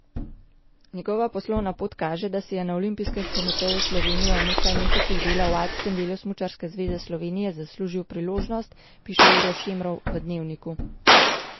Njegova poslovna pot kaže, da si je na Olimpijskem komiteju Slovenije in v nekaj mesecih dela v alpskem delu Smučarske zveze Slovenije zaslužil priložnost, piše Uroš Šemrov v Dnevniku.